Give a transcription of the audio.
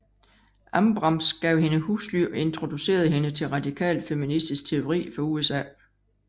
Ambrams gav hende husly og introducerede hende til radikal feministisk teori fra USA